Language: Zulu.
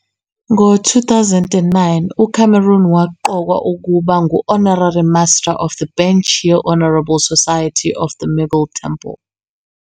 Ngo 2009, uCameron waqokwa ukuba ngu-Honarary Master of the Bench ye-Honourable Society of the Middle Temple.